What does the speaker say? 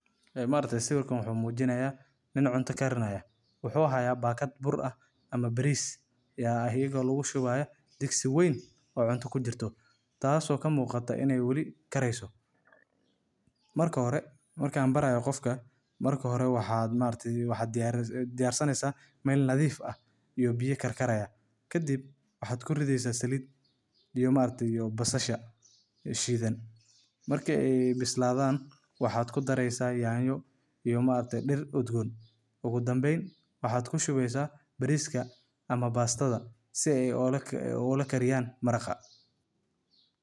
Markta siwirkan wuxu mujinaya nin cunta garinayo waxu yahay bagad bur ah ama baris ayago lagu shubayo dogsi wan, oo cunta ku jirtoh taas oo ka muqtoh ina ay wali kariysoh, marka hore marka barayo qofka marka hore wax markata wax diyar sanaysan mal nadif ah iyo biyo garkaraya ka dhib waxad ku ridaysah salid iyo marki basasha shidan marka ay bisladan waxad ku daraysah yanyo iyo markta dir udgon ogu dambayn waxad ku shubaysah bariska ama bastada sii ay ola garibiyan maraqa.